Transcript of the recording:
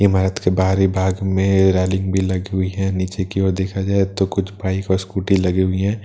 इमारत के बाहरी भाग में रैलिंग भी लगी हुई है नीचे की ओर देखा जाए तो कुछ बाइक और स्‍कूटी लगी हुई है।